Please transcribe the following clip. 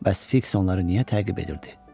Bəs Fiks onları niyə təqib edirdi?